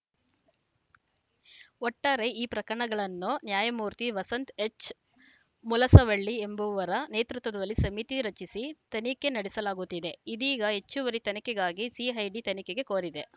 ಒಟ್ಟಾರೆ ಈ ಪ್ರಕಣಗಳನ್ನು ನ್ಯಾಯಮೂರ್ತಿ ವಸಂತ್‌ ಎಚ್‌ ಮುಲಸವಲ್ಗಿ ಎಂಬುವರ ನೇತೃತ್ವದಲ್ಲಿ ಸಮಿತಿ ರಚಿಸಿ ತನಿಖೆ ನಡೆಸಲಾಗುತ್ತಿದೆ ಇದೀಗ ಹೆಚ್ಚುವರಿ ತನಿಖೆಗಾಗಿ ಸಿಐಡಿ ತನಿಖೆಗೆ ಕೋರಿದೆ